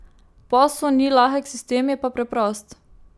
Posel ni lahek sistem, je pa preprost.